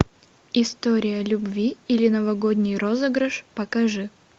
история любви или новогодний розыгрыш покажи